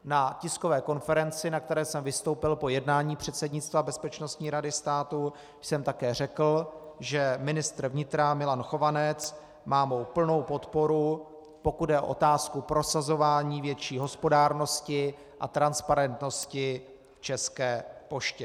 Na tiskové konferenci, na které jsem vystoupil po jednání předsednictva Bezpečnostní rady státu, jsem také řekl, že ministr vnitra Milan Chovanec má mou plnou podporu, pokud jde o otázku prosazování větší hospodárnosti a transparentnosti v České poště.